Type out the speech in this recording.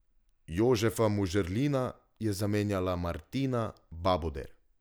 Jožefa Mužerlina je zamenjala Martina Babuder.